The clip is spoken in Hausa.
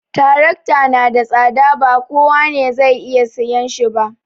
Trakta na da tsada, ba kowa ne zai iya sayan shi ba